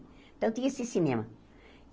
Então, tinha esse cinema.